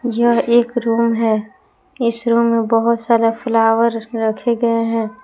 यह एक रूम है इस रूम में बहुत सारा फ्लावर रखें गए हैं।